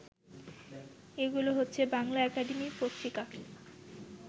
এগুলো হচ্ছে- বাংলা একাডেমি পত্রিকা